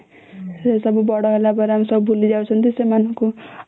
ସେସବୁ ବଡ ହେଲା ପରେ ଆମେ ଭୁଲିଯାଉଛନ୍ତି ସେମାନଙ୍କୁ